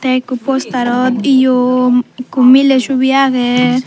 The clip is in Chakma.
te ekku posterot eyo ekku miley sobi agey.